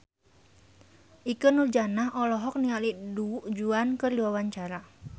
Ikke Nurjanah olohok ningali Du Juan keur diwawancara